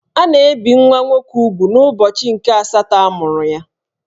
A na-ebì nwa nwoke úgwù n'ubọchi nke asatọ a mụrụ ya